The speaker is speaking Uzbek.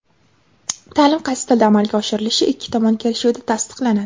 ta’lim qaysi tilda amalga oshirilishi ikki tomon kelishuvida tasdiqlanadi.